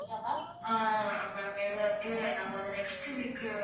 Nextweek.